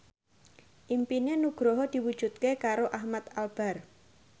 impine Nugroho diwujudke karo Ahmad Albar